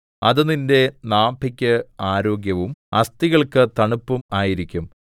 അത് നിന്റെ നാഭിക്ക് ആരോഗ്യവും അസ്ഥികൾക്ക് തണുപ്പും ആയിരിക്കും